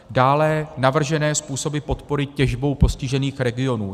Dále navržené způsoby podpory těžbou postižených regionů.